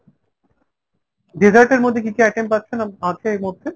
dessert এর মধ্যে কী কী item পাচ্ছেন আছে এর মধ্যে ?